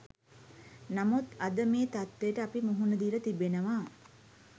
නමුත් අද මේ තත්ත්වයට අපි මුහුණ දීලා තිබෙනවා.